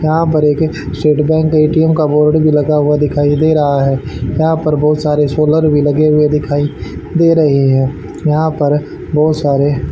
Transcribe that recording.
यहां पर एक स्टेट बैंक ए_टी_एम का बोर्ड है भी लगा हुआ दिखाई दे रहा है यहां पर बहुत सारे सोलर भी लगे हुए दिखाई दे रहे हैं यहां पर बहुत सारे--